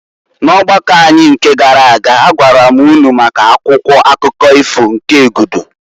N'ọgbakọ anyị nke gara aga agwara m ụnụ maka Akwụkwọ akụkọ ifo nke Egudu.